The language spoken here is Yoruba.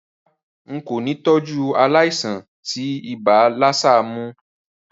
Rárá, n kò ni tọ́jú aláìsàn tí ibà lassa mó